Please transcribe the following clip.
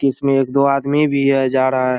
की इसमे एक दो आदमी भी हैं जा रहा हैं।